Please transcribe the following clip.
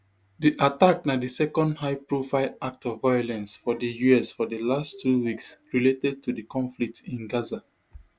di attack na di second highprofile act of violence for di us for di last two weeks related to di conflict in gaza